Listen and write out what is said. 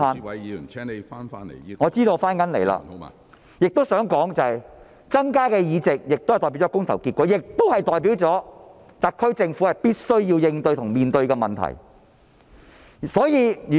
我想指出，民主派增加了議席將代表市民的公投結果，亦代表特區政府必須面對及處理問題。